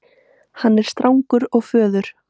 Hann er strangur og föður